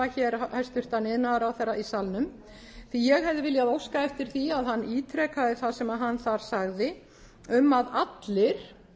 hér hæstvirtur iðnaðarráðherra í salnum því ég hefði viljað óska eftir því að hann ítrekaði það sem hann þar sagði um að allir